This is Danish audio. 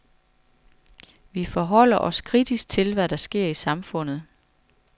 Vi forholder os kritisk til, hvad der sker i samfundet.